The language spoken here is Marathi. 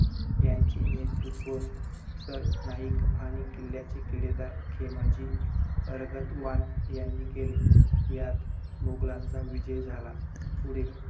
झपाट्याने कमी होत आहे.भुर्भागातील पाण्याची पातळी खालवणे ही चिंताजनक बाब आहे.